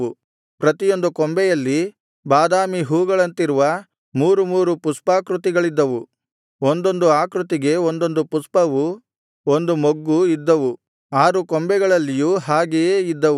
ಪ್ರತಿಯೊಂದು ಕೊಂಬೆಯಲ್ಲಿ ಬಾದಾಮಿ ಹೂವುಗಳಂತಿರುವ ಮೂರು ಮೂರು ಪುಷ್ಪಾಕೃತಿಗಳಿದ್ದವು ಒಂದೊಂದು ಆಕೃತಿಗೆ ಒಂದೊಂದು ಪುಷ್ಪವೂ ಒಂದು ಮೊಗ್ಗು ಇದ್ದವು ಆರು ಕೊಂಬೆಗಳಲ್ಲಿಯೂ ಹಾಗೆಯೇ ಇದ್ದವು